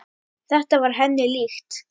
Þetta var henni líkt.